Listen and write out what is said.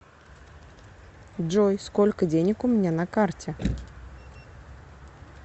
джой сколько денег у меня на карте